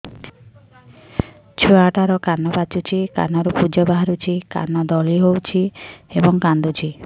ଛୁଆ ଟା ର କାନ ପାଚୁଛି କାନରୁ ପୂଜ ବାହାରୁଛି କାନ ଦଳି ହେଉଛି ଏବଂ କାନ୍ଦୁଚି